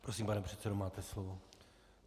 Prosím, pane předsedo, máte slovo.